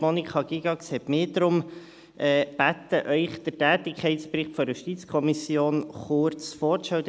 Monika Gygax bat aber darum, Ihnen den Tätigkeitsbericht der JuKo kurz vorzustellen.